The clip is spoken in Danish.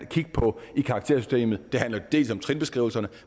kigge på i karaktersystemet det handler dels om trinbeskrivelserne